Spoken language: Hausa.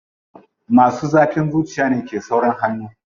Masu zafin zuciya ne ke saurin hannu.